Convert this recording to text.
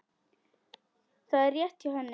Það er rétt hjá henni.